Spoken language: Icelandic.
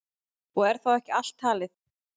Og er þá ekki allt talið.